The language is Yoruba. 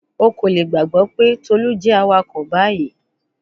O ko le gbagbọ pe Tolu jẹ awakọ bayi